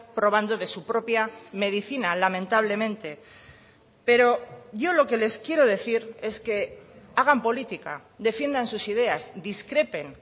probando de su propia medicina lamentablemente pero yo lo que les quiero decir es que hagan política defiendan sus ideas discrepen